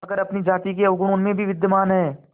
मगर अपनी जाति के अवगुण उनमें भी विद्यमान हैं